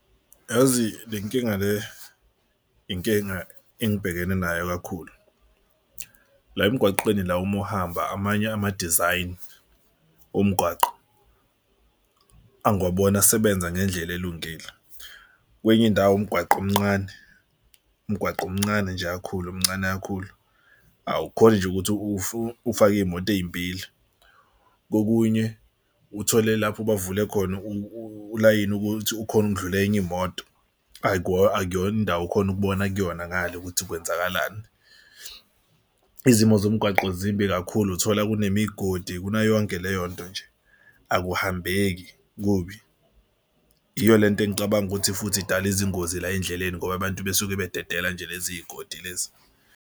Yazi le nkinga le inkinga engibhekene nayo kakhulu la emgwaqeni la uma uhamba amanye ama-design omgwaqo angiwaboni asebenza ngendlela elungile. Kwenye indawo umgwaqo omnqane umgwaqo mncane nje kakhulu mncane kakhulu. Awukhoni nje ukuthi ufake iy'moto ey'mbili. Kokunye uthole lapho bavule khona ulayini ukuthi ukhone ukudlula enye imoto akuyona indawo ukhona ukubona kuyona ngale ukuthi kwenzakalani. Izimo zomgwaqo zimbi kakhulu. Uthola kunemigodi kunayo yonke leyo nto nje akuhambeki kubi. Yiyo le nto engicabanga ukuthi futhi idale izingozi la endleleni ngoba abantu besuke bededela nje lezi godi lezi.